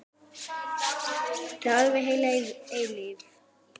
Það er alveg heil eilífð.